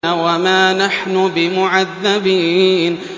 وَمَا نَحْنُ بِمُعَذَّبِينَ